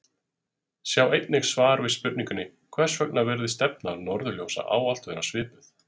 Sjá einnig svar við spurningunni Hvers vegna virðist stefna norðurljósa ávallt vera svipuð?